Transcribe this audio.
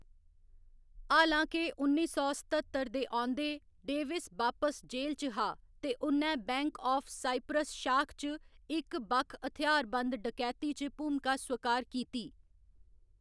हालां के उन्नी सौ सत्ततर दे औंदे, डेविस बापस जेल च हा ते उ'न्नै बैंक आफ साइप्रस शाख च इक बक्ख हथ्यारबंद डकैती च भूमिका स्वीकार कीती।